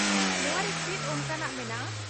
ᱱᱚᱶᱟ ᱨᱮ ᱪᱮᱫ ᱚᱱᱠᱟᱱᱟᱜ ᱢᱮᱱᱟᱜᱼᱟ ?